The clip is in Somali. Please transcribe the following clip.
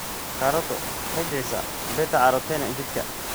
Karooto waxay bixisaa beta-carotene jidhka.